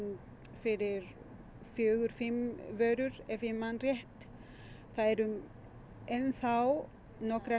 fyrir fjórar fimm vörur ef ég man rétt það eru enn þá nokkrar